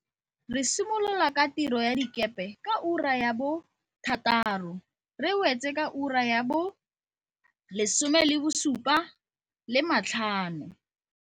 Re simolola ka tiro ya dikepe ka ura ya bo thataro re e wetse ka ura ya bo lesome le bosupa le matlhano.